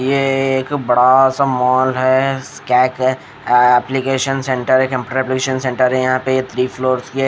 ये एक बड़ा सा मॉल है स्क है एप्लीकेशन सेंटर है कंप्यूटर एप्लीकेशन सेंटर है यहाँ पे थ्री फ्लोर्स के--